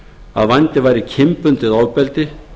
að vændi væri kynbundið ofbeldi